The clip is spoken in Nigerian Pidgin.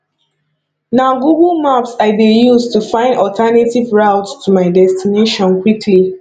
na google maps i dey use to find alternative routes to my destination quickly